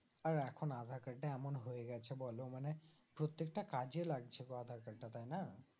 আর এখন আধার কার্ড টা এমন হয়ে গেছে বলো মানে প্রত্যেকটা কাজে লাগছে গো আধার কার্ড টা তাইনা